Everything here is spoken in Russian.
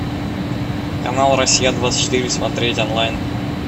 канал россия двадцать четыре смотреть онлайн